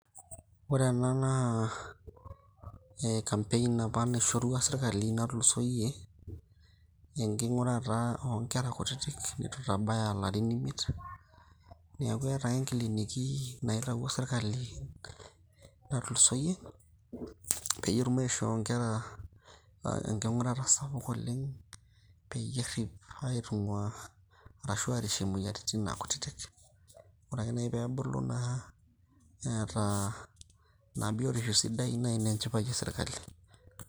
Ore ena naa campaign apa nsishorua sirkali natulusoyie, enking'urata onkera kutitik nitu itabaya larin imiet. Neeku eeta ake kliniki naitawuo serkali natulusoyie, peyie etum aishoo nkera enking'urata sapuk oleng',peyie errip aitung'ua, arashu arishie naa moyiaritin kutitik. Ore ake nai pebulu naa, neeta ina biotisho sidai, na ina enchipai esirkali.